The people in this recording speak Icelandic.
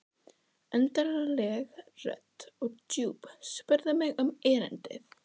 Undarleg rödd og djúp spurði mig um erindið.